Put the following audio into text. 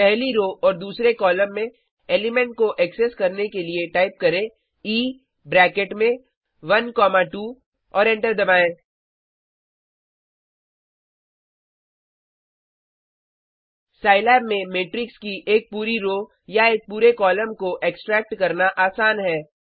पहली रो और दूसरे कॉलम में एलीमेंट को एक्सेस करने के लिए टाइप करें ई ब्रैकेट में 12 और एंटर दबायें साईलैब में मेट्रिक्स की एक पूरी रो या एक पूरे कॉलम को एक्सट्रैक्ट करना आसान है